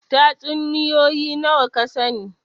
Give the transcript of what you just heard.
Tatsuniyoyi nawa ka sani?